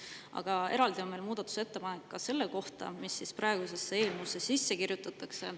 Aga eraldi on meil muudatusettepanek selle kohta, mis praegusesse eelnõusse sisse kirjutatakse.